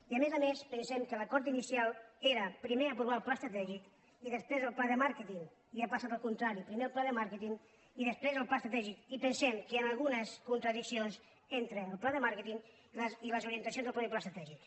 i a més a més pensem que l’acord inici·al era primer aprovar el pla estratègic i després el pla de màrqueting i ha passat al contrari primer el pla de màrqueting i després el pla estratègic i pensem que hi han algunes contradiccions entre el pla de màrque·ting i les orientacions del mateix pla estratègic